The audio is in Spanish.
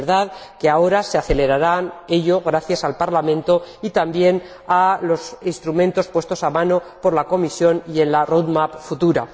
Es verdad que ahora se acelerará ello gracias al Parlamento y también a los instrumentos puestos a disposición por la Comisión y en la hoja de ruta futura.